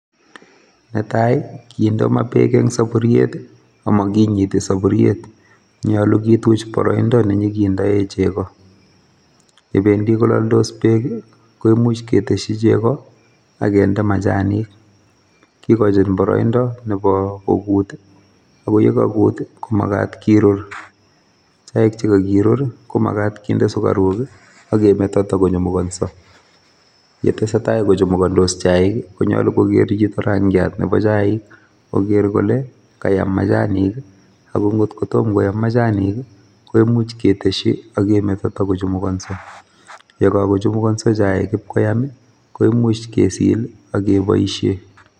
Netai kindoo maa beek en soburiet i,amokinyitii soburiet. Nyolu kituch boroindo nenyonkindoi chegoo, yebendii kololdos beek I koimuch ketesyii chegoo akinde machanik. Kigoochin boroindoo Nebo koguut it, yegakuut komagaat kiroor. Chaik chekakiroor komagaat kinde sugaruk i,akemeto kotakochumukonsoo, chetesetai kochumukondos chaik I konyolu kogeer chito rangiat nebo chaik, kogeer kole kayaam machanik ak ingot kotomo koyam machanik koimuch ketesyii ak kemeto kotokochumukonsoo. Chekakochumukonso chaik ipkoyaam koimuch kesil ak keboishien